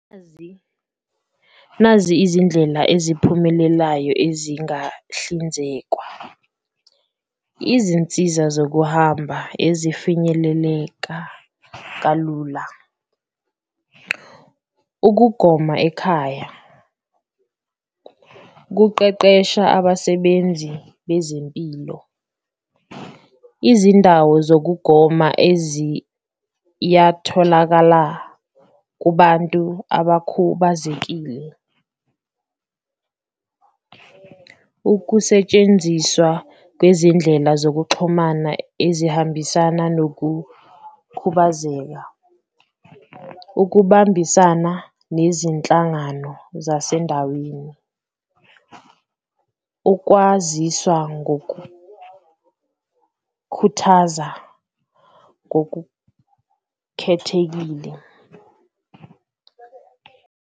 Nazi nazi izindlela eziphumelelayo ezingahlinzekwa, izinsiza zokuhamba ezifinyeleleka kalula, ukugoma ekhaya, ukuqeqesha abasebenzi bezempilo, izindawo zokugoma eziyatholakala kubantu abakhubazekile. Ukusetshenziswa kwezindlela zokuxhumana ezihambisana nokukhubazeka, ukubambisana nezinhlangano zasendaweni, ukwaziswa ngokukhuthaza ngokukhethekile.